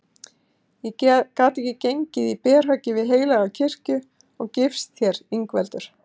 Ég gat ekki gengið í berhögg við heilaga kirkju og gifst þér Ingveldur.